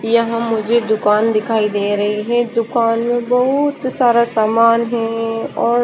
यहाँ मुझे दुकान दिखाई दे रही है दुकान में बहुत सारा सामान है और--